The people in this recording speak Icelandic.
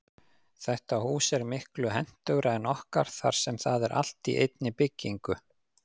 Þetta hús er miklu hentugra en okkar þar sem það er allt í einni byggingu.